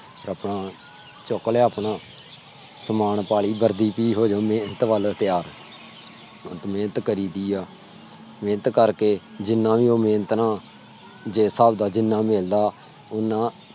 ਆਪਣਾ ਚੁੱਕ ਲਿਆ ਆਪਣਾ ਸਮਾਨ ਪਾਲੀ ਵਰਦੀ ਮੇਹਨਤ ਵੱਲ ਮੇਹਨਤ ਕਰੀ ਦੀ ਆ ਮੇਨਤ ਕਰਕੇ ਜਿਨਾ ਵੀ ਉਹ ਮੇਹਨਤ ਨਾਲ ਜਿਸ ਸਾਬ ਨਾਲ ਜਿਨ੍ਹਾਂ ਮਿਲਦਾ। ਉਹਨਾਂ